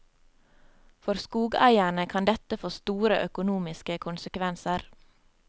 For skogeierne kan dette få store økonomiske konsekvenser.